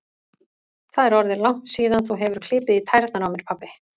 Það er orðið langt síðan þú hefur klipið í tærnar á mér, pabbi